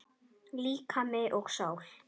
Líkami og sál